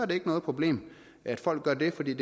det ikke noget problem at folk gør det for det er